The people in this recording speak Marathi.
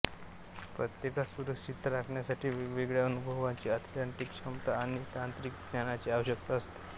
प्रत्येकास सुरक्षितता राखण्यासाठी वेगवेगळ्या अनुभवांची एथलेटिक क्षमता आणि तांत्रिक ज्ञानाची आवश्यकता असते